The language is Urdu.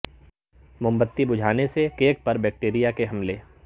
موم بتی بجھانے سے کیک پر بیکٹیریا کے حملے